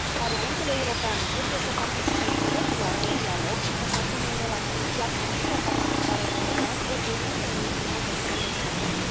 Parlamentul European trebuie să participe direct la acest dialog și să și asume un rol activ, iar Comisia parlamentară comună reprezintă un instrument extrem de important.